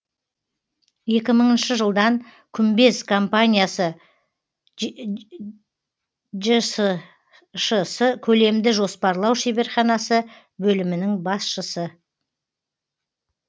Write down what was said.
екі мыңыншы жылдан күмбез компаниясы жшс көлемді жоспарлау шеберханасы бөлімінің басшысы